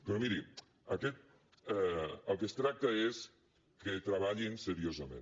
però miri del que es tracta és que treballin seriosament